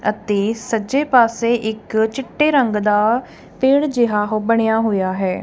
ਅਤੇ ਸੱਜੇ ਪਾਸੇ ਇੱਕ ਚਿੱਟੇ ਰੰਗ ਦਾ ਪੇੜ ਜਿਹਾ ਉਹ ਬਣਿਆ ਹੋਇਆ ਹੈ।